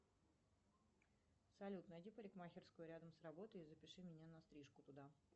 салют найди парикмахерскую рядом с работой и запиши меня на стрижку туда